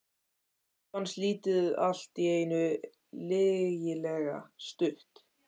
Honum fannst lífið allt í einu lygilega stutt.